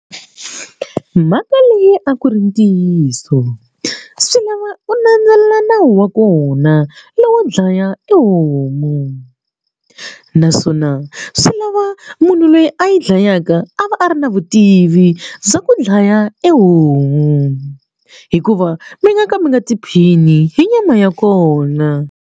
Mhaka leyi a ku ri ntiyiso swi lava u landzelela nawu wa kona lowo dlaya e homu naswona swi lava munhu loyi a yi dlayaka a va a ri na vutivi bya ku dlaya e homu hikuva mi nga ka mi nga tiphini hi nyama ya kona.